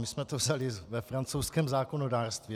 My jsme to vzali ve francouzském zákonodárství.